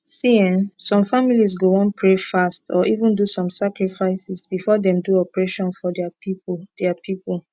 see[um]some families go wan pray fast or even do some sacrifices before dem do operation for dia people dia people